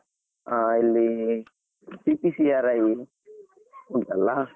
ಆ ಅಲ್ಲಿ PPCRI ಉಂಟಲ್ಲಾ.